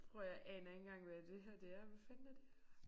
Prøv at høre jeg aner ikke engang hvad det her det er. Hvad fanden er det her?